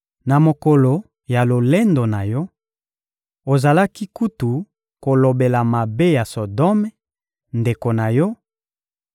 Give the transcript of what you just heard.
Na mokolo ya lolendo na yo, ozalaki kutu kolobela mabe ya Sodome, ndeko na yo,